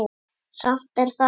Samt er það